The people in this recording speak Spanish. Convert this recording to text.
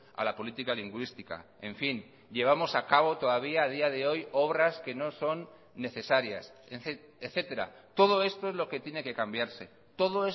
a la política lingüística en fin llevamos a cabo todavía a día de hoy obras que no son necesarias etcétera todo esto es lo que tiene que cambiarse todo